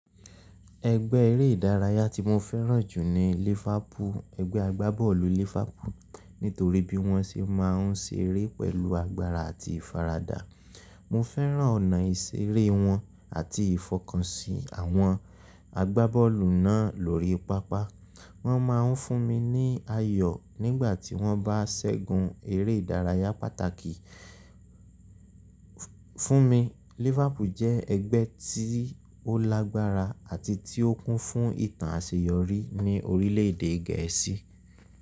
Ẹgbẹ́ eré ìdárayá tí mo fẹ́ràn jù ni Liverpool, ẹgbẹ́ agbábọ́ọ̀lù Liverpool. Nítorí bí wọ́n ṣe máa ń ṣeré pẹ̀lú agbára àti ìfaradà. Mo fẹ́ràn ọ̀nà ìṣeré wọn àti ìfọkànsì àwọn agbábọ́ọ̀lù náà lórí pápá. Wọ́n máa ń fún mi ní ayọ̀ nígbà tí wọ́n bá ṣẹ́gun eré ìdárayá pàtàkì. Fúnmi, Liverpool jẹ́ ẹgbẹ́ tí ó lágbára àti tí ó kún fún ìtàn àṣeyọrí ní orílẹ̀-èdè Gẹ̀ẹ́sì.